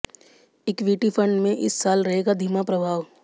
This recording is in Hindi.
इक्विटी फंड में इस साल रहेगा धीमा प्रवाह